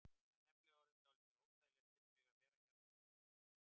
Það er nefnilega orðið dálítið óþægilegt fyrir mig að vera hérna úti.